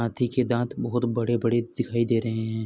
हाँथी के दाँत बहुत बड़े-बड़े दिखाई दे रहे हैं।